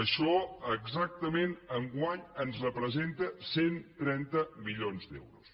això exactament enguany ens representa cent i trenta milions d’euros